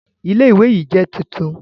Ilé Ilé ìwé yìí jẹ́ tuntun